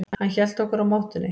Hann hélt okkur á mottunni.